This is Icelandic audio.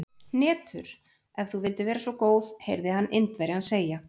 Hnetur, ef þú vildir vera svo góð heyrði hann Indverjann segja.